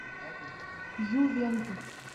ювентус